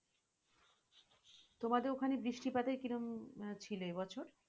তোমাদের ওখানে বৃষ্টিপাতের কিরম ছিলো এই বছর?